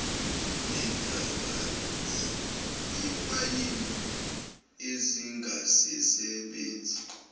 lezintaba zemayini ezingasasebenzi